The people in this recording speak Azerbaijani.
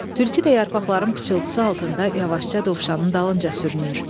Tülkü də yarpaqların pıçıltısı altında yavaşca dovşanın dalınca sürünür.